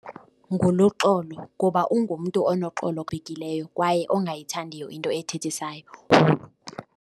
NguLuxolo kuba ungumntu unoxolo kwaye ongayithandiyo into ethethisayo .